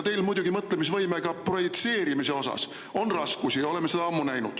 Teil on muidugi mõtlemisvõimega projitseerimise osas raskusi, me oleme seda ammu näinud.